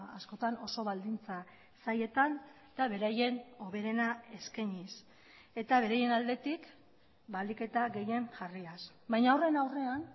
askotan oso baldintza zailetan eta beraien hoberena eskainiz eta beraien aldetik ahalik eta gehien jarriaz baina horren aurrean